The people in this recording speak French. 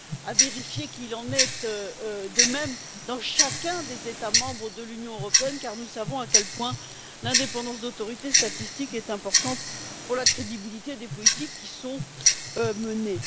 à vérifier qu'il en est de même dans chacun des États membres de l'Union européenne, car nous savons à quel point l'indépendance de l'autorité statistique est importante pour la crédibilité des politiques qui sont menées.